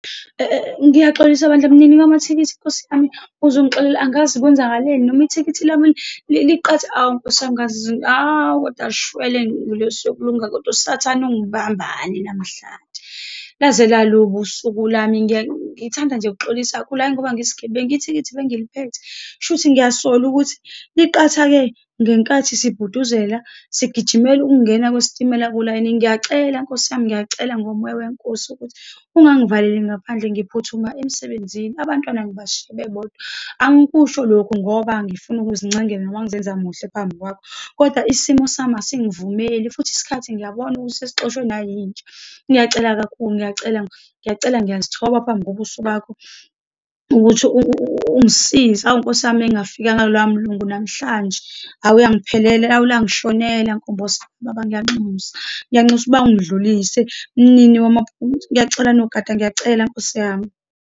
Ngiyaxolisa bandla mnini wamathikithi, nkosi yami, uzingixolele, angazi kwenzakaleni noma ithikithi lami , hhawu, nkosi yami , hhawu, kodwa shwele ngelosi yokulunga, kodwa usathane ungibambani namhlanje. Laze lalubi usuku lami ngithanda nje ukuxolisa kula, ngoba ngiyisigebengu, ithikithi bengiliphethe, kusho ukuthi ngiyasola ukuthi liqhathake ngenkathi sibhuduzela sigijimela ukungena kwesitimela kulayini. Ngiyacela nkosi yami, ngiyacela ngomoya weNkosi ukuthi ungangivaleli ngaphandle, ngiphuthuma emsebenzini, abantwana ngibashiye bebodwa. Angikusho lokhu ngoba ngifuna ukuzincengele, noma ngizenza muhle phambi kwakho. Kodwa isimo sami asingavumeli, futhi isikhathi ngiyabona ukuthi sesixoshwe nayinja. Ngiyacela kakhulu, ngiyacela, ngiyacela, ngiyazithola phambi kobuso bakho ukuthi ungisize. Awu nkosi yami, uma ngingafikanga kuloyamlungu namhlanje, awu, ayangiphelele, awu langishonela nkombosi. Baba ngiyanxusa, ngiyanxusa uba ungidlulise mnini , ngiyacela nogada, ngiyacela nkosi yami.